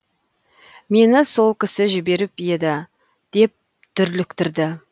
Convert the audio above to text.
мені сол кісі жіберіп еді деп дүрліктірді